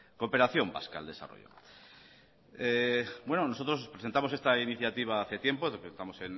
cooperación vasca al desarrollo nosotros presentamos esta iniciativa hace tiempo lo presentamos